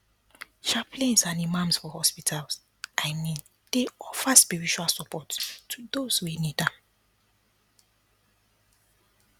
chaplains and imams for hospitals i mean dey offer spiritual support to those wey need am